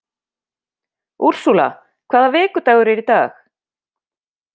Úrsúla, hvaða vikudagur er í dag?